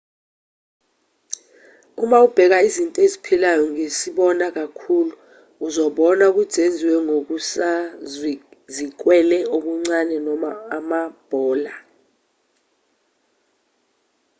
uma ubheka izinto eziphilayo ngesibona khulu uzobona ukuthi zenziwe ngokusazikwele okuncane noma amabhola